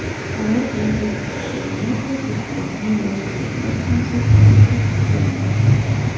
Qaror bilan O‘zbekistonda yadro tibbiyotni rivojlantirish konsepsiyasi tasdiqlandi.